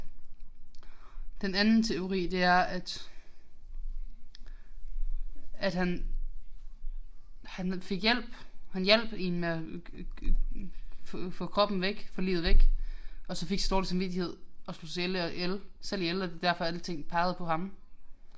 Den anden teori det er at at han han fik hjælp. Han hjalp én med at få kroppen væk få liget væk og så fik så dårlig samvittighed og slog sig selv ihjel og det er derfor alting pegede på ham